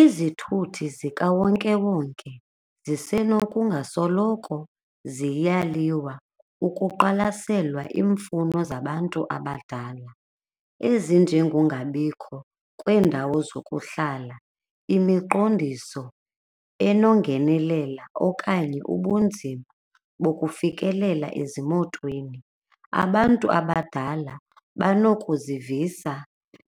Izithuthi zikawonkewonke zisenokungasoloko ziyaliwa ukuqwalaselwa iimfuno zabantu abadala ezinjengongabikho kweendawo zokuhlala, imiqondiso enongenelela okanye ubunzima bokufikelela ezimotweni. Abantu abadala banokuzivisa